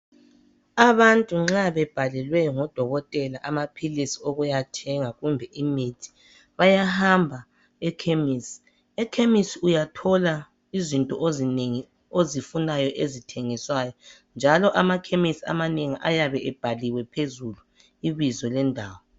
Abantu nxa bebhalelwe ngodokotela amaphilisi okuya thenga kumbe imithi bayahamba ekhemisi. Ekhemisi uyathola izinto ozinengi ozifunayo ezithengiswayo njalo amakhemisi amanengi ayabe ebhaliwe phezulu ibizo lendawo